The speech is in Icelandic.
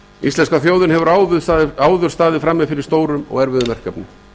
íslenska þjóðin hefur áður staðið frammi fyrir stórum og erfiðum verkefnum